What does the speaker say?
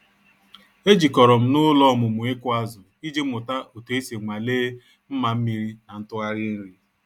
E jikọrọ m n'ụlọ ọmụmụ ịkụ azụ iji mụta otu esi nwalee mma mmiri na ntụgharị nri.